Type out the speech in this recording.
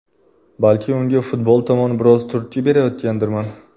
Balki unga futbol tomon biroz turtki berayotgandirman.